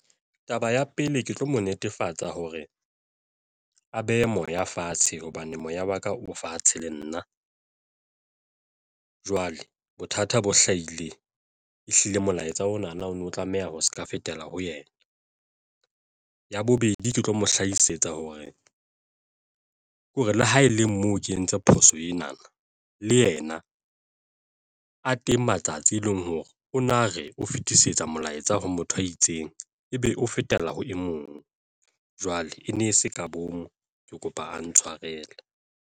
Taba ya pele, ke tlo mo netefatsa hore a behe moya fatshe hobane moya wa ka o fatshe le nna jwale bothata bo hlahile ehlile molaetsa ona na o no tlameha ho se ka fetela ho yena. Ya bobedi, ke tlo mo hlahisetsa hore ke hore le ha e le moo ke entse phoso ena le yena. A teng matsatsi tse e leng hore o na re o fetisetsa molaetsa ho motho a itseng ebe o fetela ho e mong. Jwale e ne e se ka bomo, ke kopa a ntshwarele.